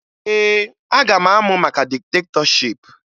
Ee, aga m amụ maka diktetọship